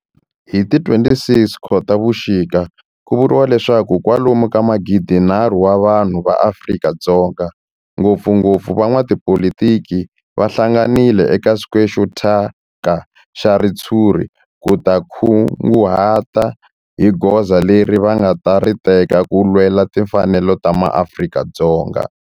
Hi ti 26 Khotavuxika ku vuriwa leswaku kwalomu ka magidinharhu wa vanhu va Afrika-Dzonga, ngopfungopfu van'watipolitiki va hlanganile eka square xo thyaka xa ritshuri ku ta kunguhata hi goza leri va nga ta ri teka ku lwela timfanelo ta maAfrika-Dzonga.